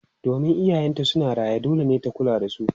Domin iyayenta suna raye, dole ne ta kula da su.